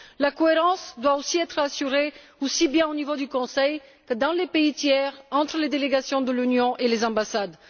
La cohérence doit également être assurée aussi bien au niveau du Conseil que dans les pays tiers entre les délégations de l'Union et les ambassades.